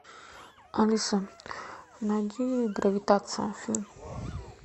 алиса найди гравитация фильм